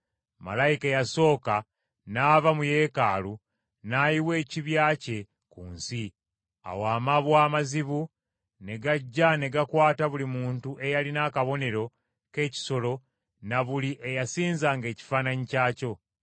Malayika eyasooka n’ava mu Yeekaalu n’ayiwa ekibya kye ku nsi. Awo amabwa amazibu ne gajja ne gakwata buli muntu eyalina akabonero k’ekisolo na buli eyasinzanga ekifaananyi kyakyo.